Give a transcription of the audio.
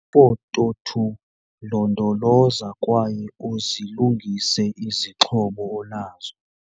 Ifoto 2- Londoloza kwaye uzilungise izixhobo onazo.